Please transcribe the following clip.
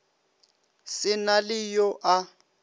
se na le yo a